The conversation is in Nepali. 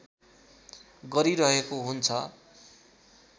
गरिरहेको हुन्छ